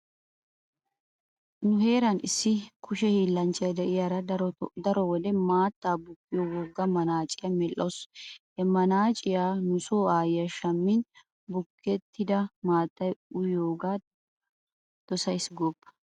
Nu heeran issi kushe hiillanchchiya diyaara daro wode maatta bukkiyo wogga manaaciya medhdhawusu. He manaaciya nu so aayyiya shammin bukettida maattaa uyiyoogaa dosays gooppa.